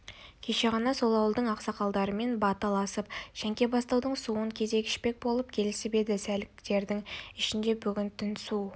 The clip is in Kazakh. кеше ғана сол ауылдың ақсақалдарымен баталасып шәңке-бастаудың суын кезек ішпек болып келісіп еді сәліктердің ішінде бүгінгі түн су